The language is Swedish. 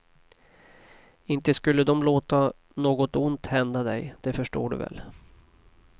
Inte skulle dom låta något ont hända dig, det förstår du väl.